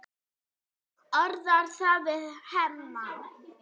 Orðar það við Hemma.